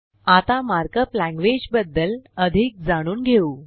आता markup language बदद्ल अधिक जाणून घेऊ